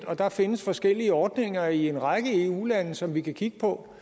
og der findes forskellige ordninger i en række eu lande som vi kan kigge på